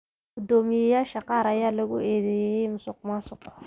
Guddoomiyeyaasha qaar ayaa lagu eedeeyay musuqmaasuq.